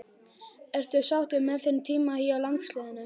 Ertu sáttur með þinn tíma hjá landsliðinu?